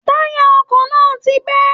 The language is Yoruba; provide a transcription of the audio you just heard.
Táyà ọkọ náà ti bẹ́